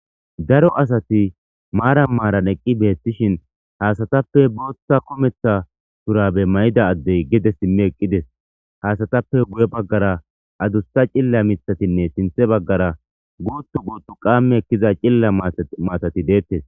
Daro asati maara maaran eqqi beettishin haasatappe booththa kometha turabe may7ida addey gede simme eqqides haasatappe guye baggara adusta cilla mithatinne sinthe baggara guutu guuttu qamme ekkiza cilla matati deettes.